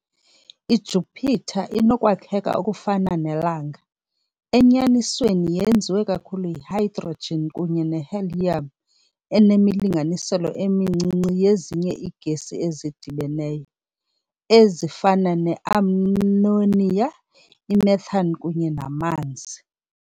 I-Jupiter inokwakheka okufana neLanga - enyanisweni yenziwe kakhulu yi -hydrogen kunye ne-helium enemilinganiselo emincinci yezinye iigesi ezidibeneyo, ezifana ne-ammonia i-methane kunye namanzi .